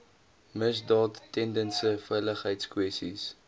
misdaad tendense veiligheidskwessies